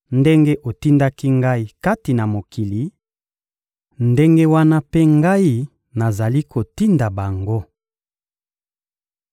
Ndenge otindaki Ngai kati na mokili, ndenge wana mpe Ngai nazali kotinda bango.